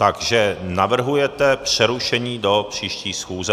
Takže navrhujete přerušení do příští schůze.